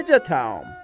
Necə təam?